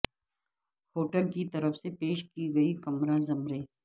hotel کی طرف سے پیش کی گئی کمرہ زمرے